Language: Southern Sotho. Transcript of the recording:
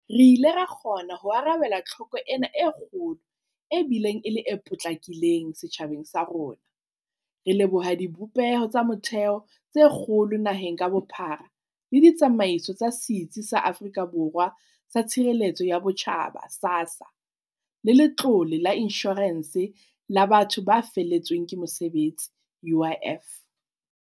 Re ile ra kgona ho arabela tlhoko ena e kgolo e bileng e le e potlakileng setjhabeng sa rona, re leboha dibopeho tsa motheo tse kgolo naheng ka bophara le ditsamaiso tsa Setsi sa Afrika Borwa sa Tshireletso ya Botjhaba, SASSA, le Letlole la Inshorense ya Batho ba Feletsweng ke Mosebetsi, UIF.